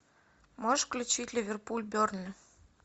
можешь включить ливерпуль бернли